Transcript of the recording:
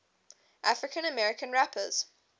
african american rappers